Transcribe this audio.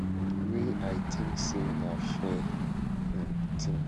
wey i tink say na fair um tin